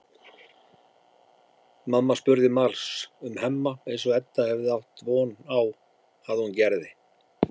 Mamma spurði margs um Hemma eins og Edda hafði átt von á að hún gerði.